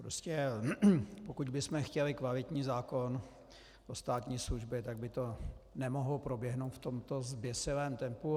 Prostě pokud bychom chtěli kvalitní zákon o státní službě, tak by to nemohlo proběhnout v tomto zběsilém tempu.